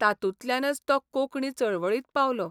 तातूंतल्यानच तो कोंकणी चळवळींत पावलो.